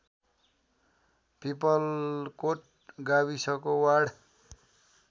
पिपलकोट गाविसको वार्ड